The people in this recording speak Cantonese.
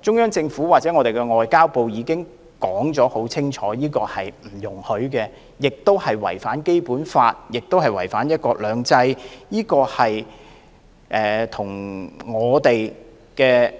中央政府或外交部已經明言不容此舉，因為這是違反《基本法》和"一國兩制"的事，與我們的